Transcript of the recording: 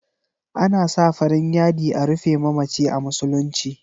Ana sa farin yadi a rufe mamaci a musuluci.